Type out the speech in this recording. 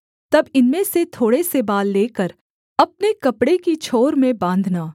तब इनमें से थोड़े से बाल लेकर अपने कपड़े की छोर में बाँधना